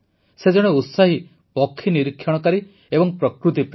ସେ ଜଣେ ଉତ୍ସାହୀ ପକ୍ଷୀ ନିରୀକ୍ଷଣକାରୀ ଏବଂ ପ୍ରକୃତିପ୍ରେମୀ